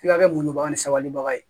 F'i ka kɛ muɲubaga ni sabalibaga ye